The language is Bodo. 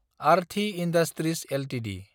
Aarti industries Ltd